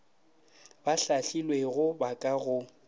ba hlahlilwego ba ka go